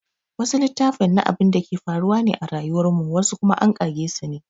Wasu littafin na abinda ke faruwa ne a rayuwar mu wasu kuma an ƙage sune